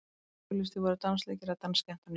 auglýstir voru dansleikir eða dansskemmtanir í blöðum